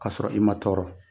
K'a sɔrɔ i ma tɔɔrɔ